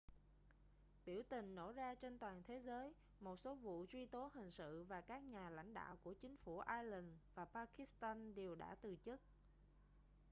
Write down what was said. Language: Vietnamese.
biểu tình nổ ra trên toàn thế giới một số vụ truy tố hình sự và các nhà lãnh đạo của chính phủ iceland và pakistan đều đã từ chức